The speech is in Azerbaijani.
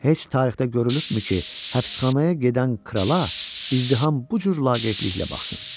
Heç tarixdə görülübmü ki, həbsxanaya gedən krala izdiham bu cür laqeydliklə baxsın?